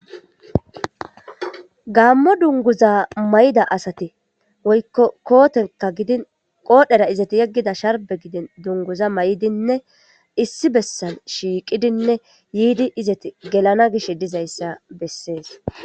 Gaammo dunguza may'da asate woykko kootenka gidin qoodhera izati yeggida sharbe gidin dunguza may'dinne issi bessan shiiqidinne yiidi izati gelana gish dizayssa bessees.